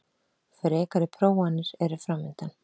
Frekari prófanir eru framundan